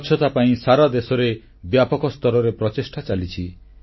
ସ୍ୱଚ୍ଛତା ପାଇଁ ସାରା ଦେଶରେ ବ୍ୟାପକ ସ୍ତରରେ ପ୍ରଚେଷ୍ଟା ଚାଲିଛି